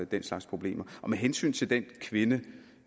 den slags problemer og med hensyn til den kvinde